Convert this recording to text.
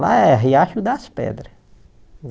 Lá é Riacho das Pedras.